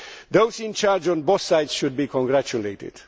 Those in charge on both sides should be congratulated.